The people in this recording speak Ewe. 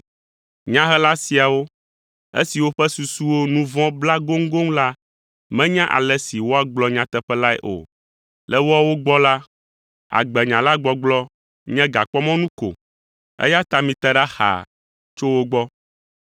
Nyahela siawo, esiwo ƒe susuwo nu vɔ̃ bla goŋgoŋ la menya ale si woagblɔ nyateƒe lae o. Le woawo gbɔ la, agbenya la gbɔgblɔ nye gakpɔmɔnu ko eya ta mite ɖa xaa tso wo gbɔ.